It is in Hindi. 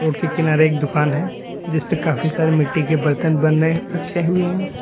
रोड के किनारे एक दुकान है जिस पे काफी सारे मिट्टी के बर्तन बना कर रखे हुए हैं।